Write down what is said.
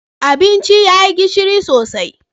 Abincin ya yi gishiri sosai